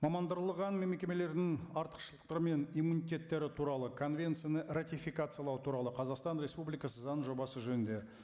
мамандырылған мекемелердің артықшылықтары мен иммунитеттері туралы конвенцияны ратификациялау туралы қазақстан республикасы заң жобасы жөнінде